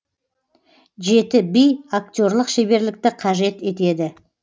жеті би актерлық шеберлікті қажет етеді